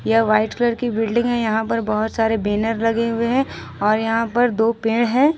यह white colour की building है यहां पर बहुत सारे बैनर लगे हुए हैं और यहां पर दो पेड़ है।